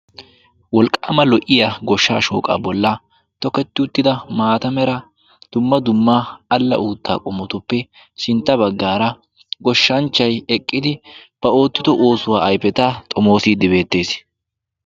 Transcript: Wolqqama lo''iyaa goshsha shooqqa bolla tokketida uttida maata mera dumma dumma alla uutta qommotuppe sintta baggara goshshanchchay eqqiidi ba oottido oosuwaa ayfeta xommoside beettees.